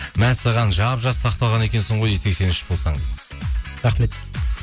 мәссаған жап жас сақталған екенсің ғой дейді сексен үш болсаң рахмет